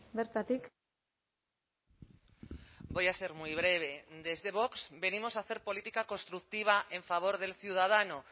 bertatik voy a ser muy breve desde vox venimos a hacer política constructiva en favor del ciudadano